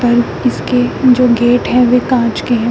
और इसके जो गेट हैं वे कांच के हैं।